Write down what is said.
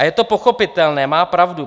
A je to pochopitelné, má pravdu.